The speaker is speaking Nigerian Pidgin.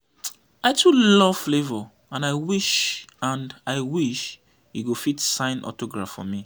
i too love flavour and i wish and i wish he go fit sign autograph for me